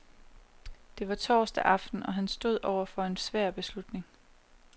Det var torsdag aften, og han stod over for en svær beslutning.